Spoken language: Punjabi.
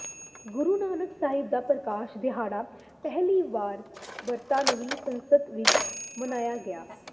ਗੁਰੂ ਨਾਨਕ ਸਾਹਿਬ ਦਾ ਪ੍ਰਕਾਸ਼ ਦਿਹਾੜਾ ਪਹਿਲੀ ਵਾਰ ਬਰਤਾਨਵੀ ਸੰਸਦ ਵਿੱਚ ਮਨਾਇਆ ਗਿਆ